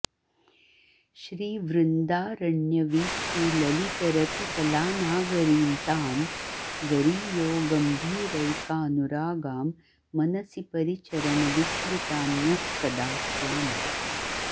श्रीवृन्दारण्यवीथीललितरतिकलानागरीं तां गरीयो गम्भीरैकानुरागां मनसि परिचरन विस्मृतान्यः कदा स्याम्